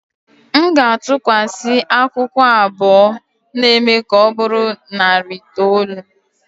M ga-atụkwasị akwụkwọ abụọ na-eme ka ọ bụrụ narị itoolu.